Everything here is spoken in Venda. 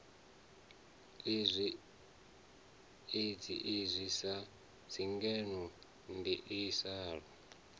i dzhiiwi sa tshigwevho ndiliso